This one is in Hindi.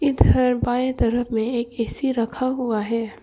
इधर बाएं तरफ में एक ए_सी रखा हुआ है।